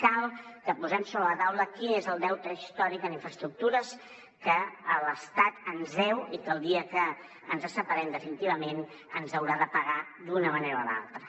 cal que posem sobre la taula quin és el deute històric en infraestructures que l’estat ens deu i que el dia que ens separem definitivament ens haurà de pagar d’una manera o d’altra